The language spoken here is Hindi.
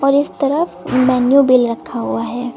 और इस तरफ मेन्यू बिल रखा हुआ है।